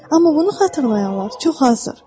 Amma bunu xatırlayanlar çox azdır.